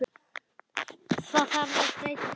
Þarf að breyta því?